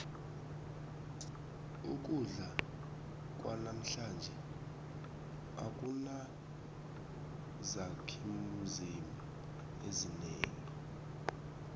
ukudla kwanamhlanje akunazakhimzimba ezinengi